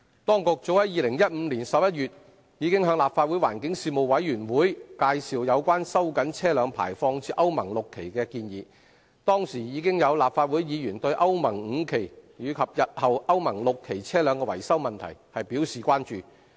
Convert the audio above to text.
當局早於2015年11月已向立法會環境事務委員會委員介紹有關收緊車輛排放至歐盟 VI 期的建議，當時已有立法會議員對歐盟 V 期及日後歐盟 VI 期車輛的維修問題表示關注。